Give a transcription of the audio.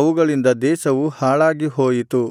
ಅವುಗಳಿಂದ ದೇಶವು ಹಾಳಾಗಿಹೋಯಿತು